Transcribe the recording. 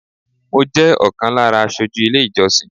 Mọ jẹ́ ọ̀kan lára aṣojú ilé ìjọsìn